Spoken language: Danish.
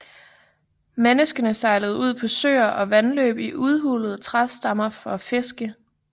Menneskene sejlede ud på søer og vandløb i udhulede træstammer for at fiske